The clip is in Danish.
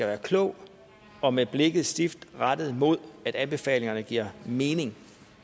være klog og med blikket stift rettet mod at anbefalingerne giver mening